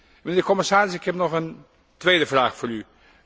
Mijnheer de commissaris, ik heb nog een tweede vraag voor u.